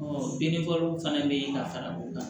binfagalanw fana bɛ yen ka fara o kan